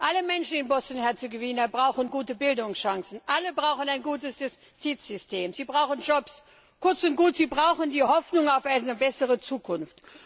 Alle Menschen in Bosnien Herzegowina brauchen gute Bildungschancen, alle brauchen ein gutes Justizsystem, sie brauchen Jobs, kurz und gut, sie brauchen die Hoffnung auf eine bessere Zukunft.